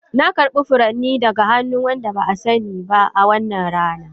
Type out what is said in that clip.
Na karbi furanni daga wani wanda ba a sani ba a wannan rana.